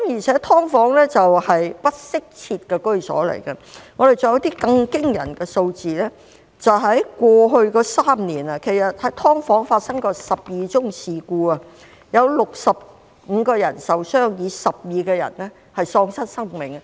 此外，"劏房"是不適切居所，還有一些更驚人的數字，過去3年，在"劏房"發生的事故有12宗，有65人受傷 ，12 人喪失生命。